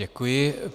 Děkuji.